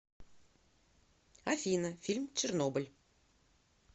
афина фильм чернобыль